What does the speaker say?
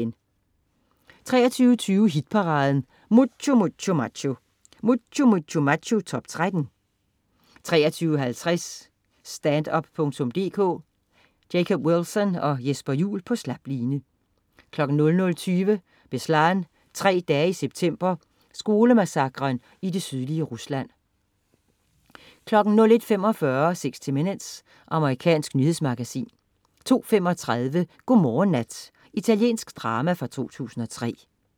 23.20 Hit-paraden: Mucho Mucho Macho. Mucho Mucho Macho-top 13 23.50 Stand-up.dk. Jacob Wilson og Jesper Juhl på slap line 00.20 Beslan, tre dage i September. Skolemassakren i det sydlige Rusland 01.45 60 Minutes. Amerikansk nyhedsmagasin 02.35 God morgen, nat. Italiensk drama fra 2003